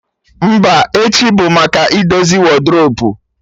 Mba, echi bụ maka idozi wadrobu